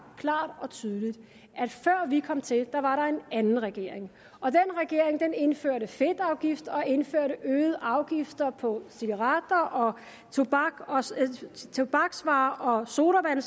klart og tydeligt at før vi kom til var der en anden regering og den regering indførte fedtafgift og indførte øgede afgifter på cigaretter og tobak og tobaksvarer og sodavand